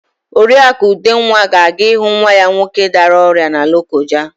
Oriakụ Udenwa ga-aga ịhụ nwa ya nwoke dara ọrịa na Lokoja.